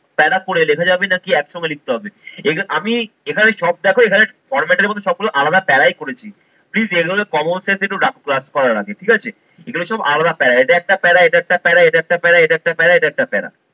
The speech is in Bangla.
প্যারা করে লেখা যাবে নাকি একসঙ্গে লিখতে হবে? আমি এখানে সব দেখোবো এখানে format এর মতো সবগুলো আলাদা প্যারাই করেছি। Please এগুলো common sense একটু রাখতে হয় class করার আগে ঠিক আছে। এগুলো সব আলাদা প্যারা, এটা একটা প্যারা, এটা একটা প্যারা, এটা একটা প্যারা, এটা একটা প্যারা, এটা একটা প্যারা